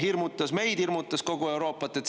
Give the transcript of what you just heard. Hirmutas meid, hirmutas kogu Euroopat.